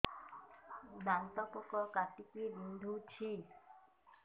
ଦାନ୍ତ ପୋକ କାଟିକି ବିନ୍ଧୁଛି